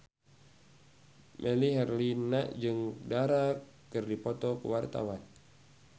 Melly Herlina jeung Dara keur dipoto ku wartawan